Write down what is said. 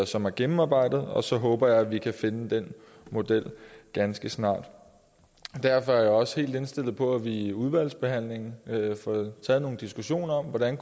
som er gennemarbejdet og så håber jeg at vi kan finde den model ganske snart derfor er jeg også helt indstillet på at vi i udvalgsbehandlingen får taget nogle diskussioner om hvordan